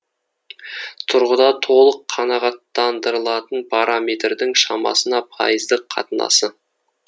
тұрғыда толық қанағаттандырылатын параметрдің шамасына пайыздық қатынасы